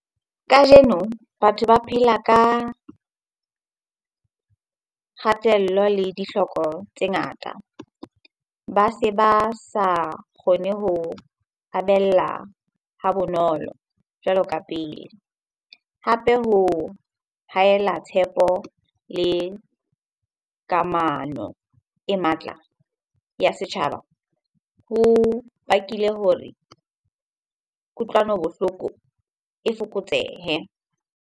Kajeno batho ba phela ka kgatello le dihloko tse ngata. Ba se ba sa kgone ho habella ha bonolo jwalo ka pele. Hape ho hahela tshepo le kamano e matla ya setjhaba ho bakile hore kutlwano bohloko e fokotsehe.